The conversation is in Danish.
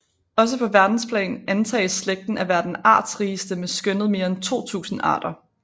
Også på verdensplan antages slægten at være den artsrigeste med skønnet mere end 2000 arter